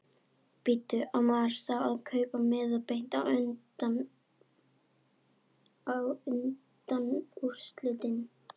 Bíddu. á maður þá að kaupa miða beint á undanúrslitin?